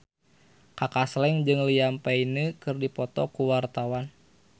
Kaka Slank jeung Liam Payne keur dipoto ku wartawan